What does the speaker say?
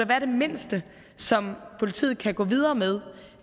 være det mindste som politiet kan gå videre med